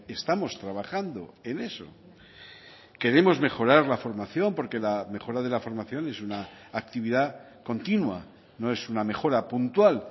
estamos trabajando en eso queremos mejorar la formación porque la mejora de la formación es una actividad continua no es una mejora puntual